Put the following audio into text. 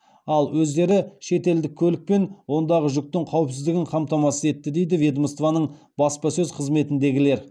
ал өздері штелдік көлік пен ондағы жүктің қауіпсіздігін қамтамасыз етті дейді ведомствоның баспасөз қызметіндегілер